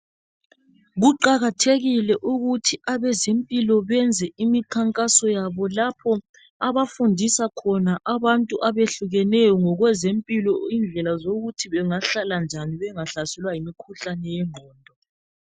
kuqakathekile ukuthi abezempilo benze imikhankaso yabo lapho abafundisa khona abantu abehlukeneyo ngokwezempilo indlela zokuthi bangahlala njani bengahlaselwa ngumkhuhlane wenqondo